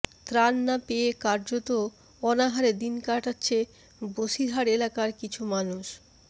ত্রাণ না পেয়ে কার্যত অনাহারে দিন কাটাচ্ছে বসিরহাট এলাকার কিছু মানুষ